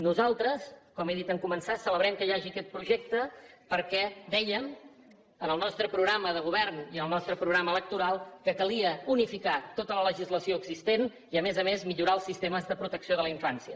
nosaltres com he dit en començar celebrem que hi hagi aquest projecte perquè dèiem en el nostre programa de govern i en el nostre programa electoral que calia unificar tota la legislació existent i a més a més millorar els sistemes de protecció de la infància